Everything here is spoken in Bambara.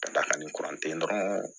Ka da kan ni dɔrɔn